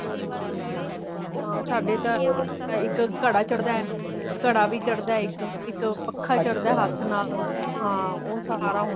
ਹਾਂ ਸਾਡੇ ਤਾ ਇੱਕ ਘੜਾ ਚੜਦਾ ਹੈ, ਘੜਾ ਵੀ ਚੜਦਾ ਇੱਕ ਇੱਕ ਪੱਖਾਂ ਹੱਥ ਨਾਲ ਹਾਂ ਉਹ ਸਾਰਾ ਹੋਂਦਾ